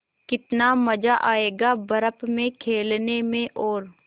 कितना मज़ा आयेगा बर्फ़ में खेलने में और